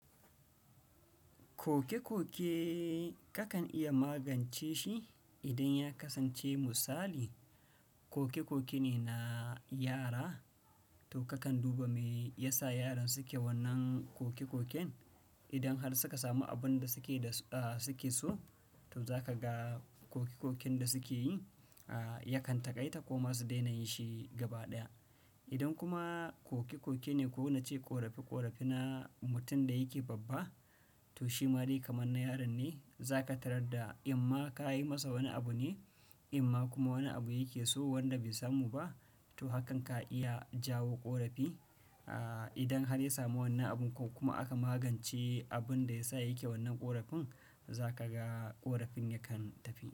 Koke-koke kakan iya magance shi idan ya kasance misali, koke-koke ne na yara, to kakan duba me yasa yaran suke wannan koke-koken. Idan har suka samu abin da suke so, to za ka ga koke-koken da suke yi yakan taƙaita ko ma su daina yin shi gaba ɗaya. Idan kuma koke-koke ne ko na ce ƙorafi-ƙorafi na mutum da yake babba, to shi ma dai kamar na yaran ne. Za ka tarar da, amma ka yi masa wani abu ne, amma kuma wani abu yake so wanda bai samu ba, to hakan ka iya jawo ƙorafi. Idan har ya samu wannan abun ko kuma aka magance abin da ya sa yake wannan ƙorafin, za ka ga ƙorafin yakan tafi.